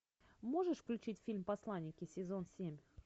можешь включить фильм посланники сезон семь